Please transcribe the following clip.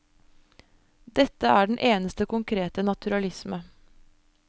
Dette er den eneste konkrete naturalisme.